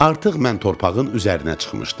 Artıq mən torpağın üzərinə çıxmışdım.